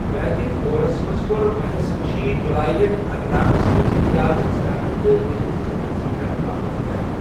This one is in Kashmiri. ویدِك دورس منز كو٘ر مہس رِشی جوالی ہن، اتھ علاقس منز رِیاضت كرنہٕ تہٕ ویدن ہنز ویژھنہہ كرنہٕ باپتھ قیام ۔